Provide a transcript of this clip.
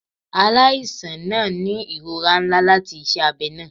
Alaisan naa ni irora nla lati iṣẹ abẹ naa